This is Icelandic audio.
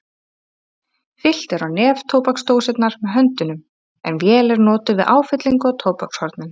Fyllt er á neftóbaksdósirnar með höndunum en vél er notuð við áfyllingu á tóbakshornin.